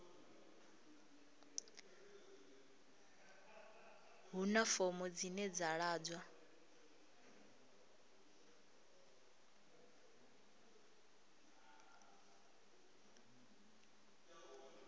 huna fomo dzine dza ḓadzwa